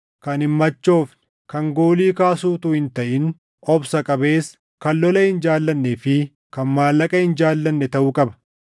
kan hin machoofne, kan goolii kaasu utuu hin taʼin obsa qabeessa, kan lola hin jaallannee fi kan maallaqa hin jaallanne taʼuu qaba.